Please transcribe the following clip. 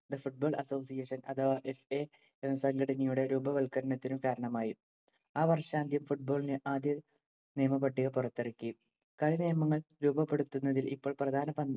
The Football Association അഥവാ FA എന്ന സംഘടനയുടെ രൂപവല്‍ക്കരണത്തിനു കാരണമായി. ആ വർഷാന്ത്യം football ന് ആദ്യ നിയമ പട്ടിക പുറത്തിറങ്ങി. കളിനിയമങ്ങൾ രൂപപ്പെടുത്തുന്നതിൽ ഇപ്പോൾ പ്രധാന പങ്ക്